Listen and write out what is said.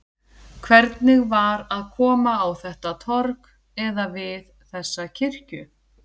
Hvernig var að koma á þetta torg, eða við þessa kirkju?